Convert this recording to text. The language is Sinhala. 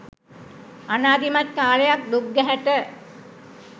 අනාදිමත් කාලයක් දුක් ගැහැට